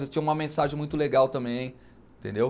Eles tinham uma mensagem muito legal também, entendeu?